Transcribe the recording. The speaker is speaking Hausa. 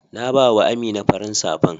na ba wa Amina farin safan.